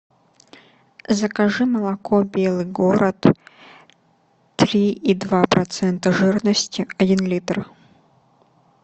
закажи молоко белый город три и два процента жирности один литр